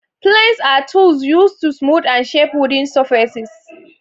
Planes are tools used to smooth and shape wooden surfaces.